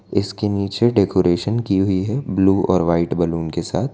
इसके नीचे डेकोरेशन की हुई है ब्लू और व्हाइट बैलून के साथ--